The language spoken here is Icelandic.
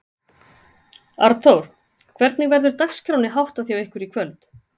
Arnþór, hvernig verður dagskránni háttar hjá ykkur í kvöld?